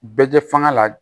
Bɛɛ tɛ fanga la